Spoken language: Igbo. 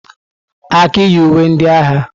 Aki yi uwe ndị agha.